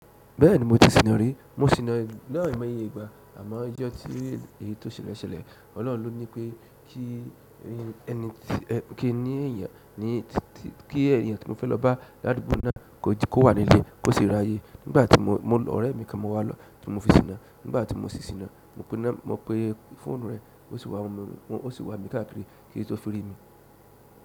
Bẹ́ẹ̀ni mo ti sìnà rí, mo sì náà ni ai mọ iyè ìgbà àmọ́ ijọ́ tí èyí tó ṣele ṣẹlẹ̀. Ọlọ́run ló ní pé kí ẹyan tí mo fẹ́ lọ bá ládùúgbò mi náà kó wà nílé kó sì rí ayé. Nígbà tí mo ọ̀rẹ́ mi kan mo wá lọ́ ti mo fi sìnà, nígbà tí mo sì sìnà mo pe fóònù rẹ̀ ó sì wá mi káàkiri kí n tó fẹ́ rí i.